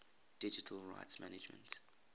digital rights management